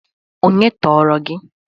Onye tọọrọ gi?